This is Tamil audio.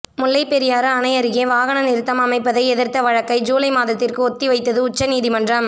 முல்லைப்பெரியாறு அணை அருகே வாகனம் நிறுத்தம் அமைப்பதை எதிர்த்த வழக்கை ஜூலை மாதத்திற்கு ஒத்திவைத்தது உச்சநீதிமன்றம்